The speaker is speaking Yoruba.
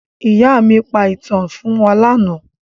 Ìyá mi pa ìtàn fún wa lánàá.